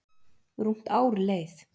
Rúmt ár leið